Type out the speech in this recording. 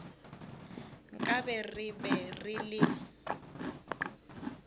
nkabe re be re le